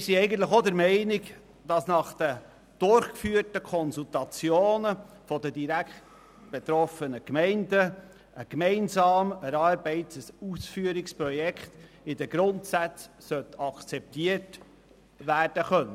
Wir sind eigentlich auch der Meinung, nach den durchgeführten Konsultationen der direktbetroffenen Gemeinden könne ein gemeinsam erarbeitetes Ausführungsprojekt in den Grundsätzen akzeptiert werden.